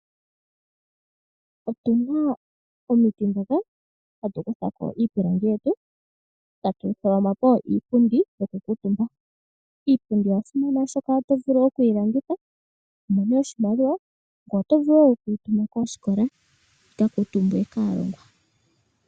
Okuna omiti ndhoka hatu kutha iipilangi yetu etatu yi hongo po iipundi yokukuutumba. Iipundi oya simana oshoka oto vulu okuyilanditha eto mono mo oshimaliwa ngweye oto vulu wo okuyituma koosikola yi kakuutumbwe kaalongwa.